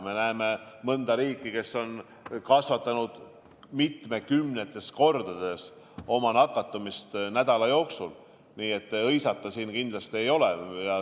Me näeme mõnda riiki, kes on kasvatanud oma nakatumisnäitajat nädala jooksul mitukümmend korda, nii et hõisata ei ole siin kindlasti mitte millegi üle.